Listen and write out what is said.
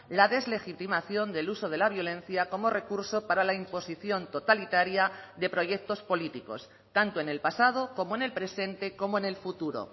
la deslegitimación del uso de la violencia como recurso para la imposición totalitaria de proyectos políticos tanto en el pasado como en el presente como en el futuro